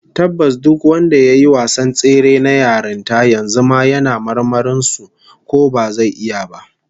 Tabbas duk wanda yayi wasan tsere na yarinta, yanzu ma yana marmarin su ko bazai iya ba